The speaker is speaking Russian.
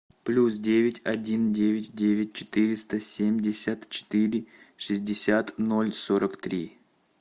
плюс девять один девять девять четыреста семьдесят четыре шестьдесят ноль сорок три